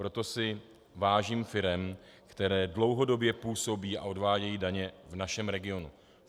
Proto si vážím firem, které dlouhodobě působí a odvádějí daně v našem regionu.